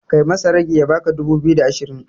Kai masa ragi ya baka dubu biyu da ashirin